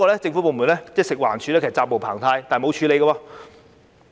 政府部門，即食物環境衞生署，責無旁貸，但卻沒有處理。